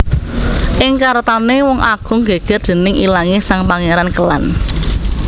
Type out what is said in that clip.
Ing karatoné Wong Agung gègèr déning ilangé sang Pangéran Kélan